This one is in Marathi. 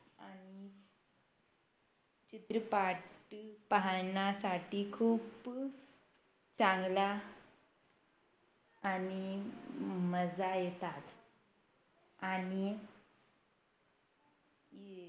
चित्रपाट पाहाण्यासाठी खूप चांगला आणि मजा येतात आणि